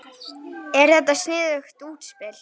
Er þetta sniðugt útspil?